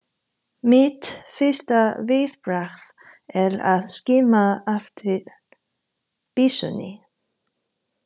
Mitt fyrsta viðbragð er að skima eftir byssunni.